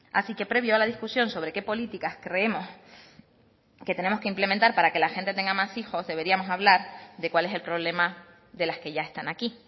así que previo a la discusión sobre qué políticas creemos que tenemos que implementar para que la gente tenga más hijos deberíamos hablar de cuál es el problema de las que ya están aquí